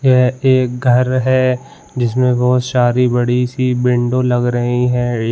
यह एक घर है जिसमें बहुत सारी बड़ी सी विंडो लग रही हैं।